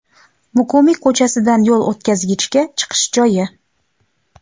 Muqimiy ko‘chasidan yo‘l o‘tkazgichga chiqish joyi.